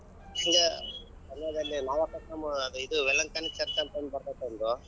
ಅದು ಇದು ವೆಲಂಕಣಿ church ಅಂತ ಒಂದ್ ಬರ್ತೇತಿ ಒಂದು.